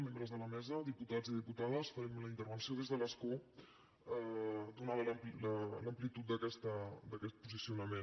membres de la mesa diputats i diputades farem la intervenció des de l’escó donada l’amplitud d’aquest posicionament